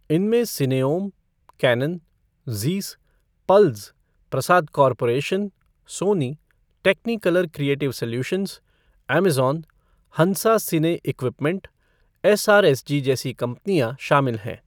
इनमें Cineom, Canon, Zeiss, Pulz, Prasad corporation, Sony, Technicolor creative solutions, Amazon, Hansa cine equipment, SRSG जैसी कंपनियां शामिल हैं।